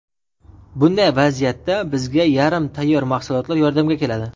Bunday vaziyatda bizga yarim tayyor mahsulotlar yordamga keladi.